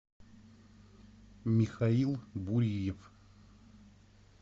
михаил буриев